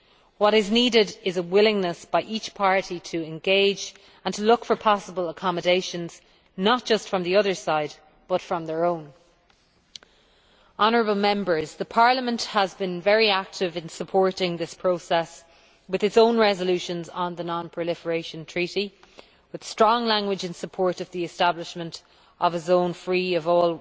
What is needed is a willingness by each party to engage and to look for possible accommodations, not just from the other side, but from their own. The European Parliament has been very active in supporting this process with its own resolutions on the Non Proliferation Treaty, including strong language in support of the establishment of a zone free of